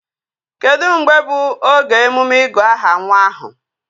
Kedụ mgbe bụ oge emume ịgụ aha nwa ahụ?